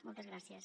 moltes gràcies